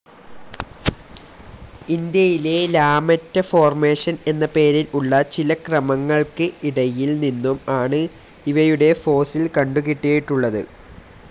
ഇന്ത്യയിലെ ലാമെറ്റ ഫോർമേഷൻ എന്ന പേരിൽ ഉള്ള ചില ക്രമങ്ങൾക്ക് ഇടയിൽ നിന്നും ആണ് ഇവയുടെ ഫോസിൽ കണ്ടുകിട്ടിയിട്ടുള്ളത്.